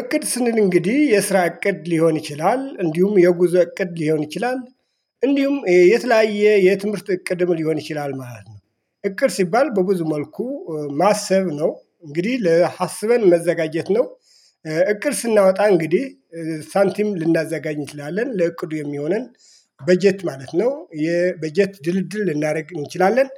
እቅድ ስንል እንግዲህ የስራ እቅድ ሊሆን ይችላል እንዲሁም የጉዞ እቅድ ሊሆን ይችላል እንዲሁም የተለያየ የትምህርት እቅድም ሊሆን ይችላል ማለት ነው። እቅድ ሲባል በብዙ መልኩ ማሰብ ነው እንግዲህ ለሀስበን መዘጋጀት ነው። እቅድ ስናወጣ እንግዲህ ሳንቲም ልናዘጋኝ እንችላለን ለእቅዱ የሚሆነን በጀት ማለት ነው የበጀት ድልድል ልናደርግ እንችላለን።